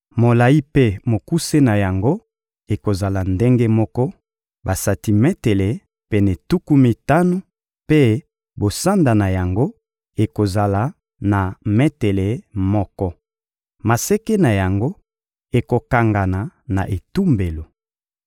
Molayi mpe mokuse na yango ekozala ndenge moko, basantimetele pene tuku mitano; mpe bosanda na yango ekozala na metele moko. Maseke na yango ekokangana na etumbelo.